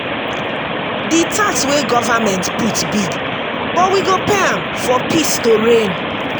the tax wey government put big but we go pay am for peace to reign